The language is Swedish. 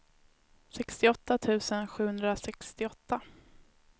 sextioåtta tusen sjuhundrasextioåtta